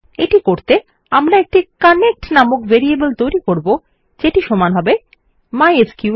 এটি করতে আমরা একটি কানেক্ট নাম একটি ভেরিয়েবল তৈরী করব যেটি সমান mysql connect